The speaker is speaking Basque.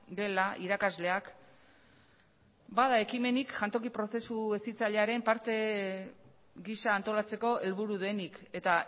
gela irakasleak etabar bada ekimenik jantoki prozesu hezitzailearen parte gisa antolatzeko helburu denik eta